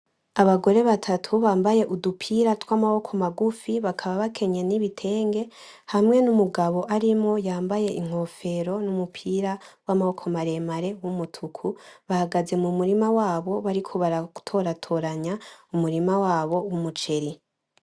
Abagore batatu bambaye udupira tw'amaboko magufi bakaba bakenyeye n'ibitenge , hamwe n'umugabo arimwo yambaye inkofero n'umupira w'amaboko maremare w'umutuku, bahagaze mu murima wabo bariko baratoratoranya umurima wabo w'umuceri.